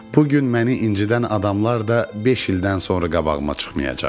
Bugün məni incidən adamlar da beş ildən sonra qabağıma çıxmayacaq.